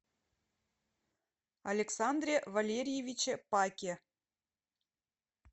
александре валерьевиче паке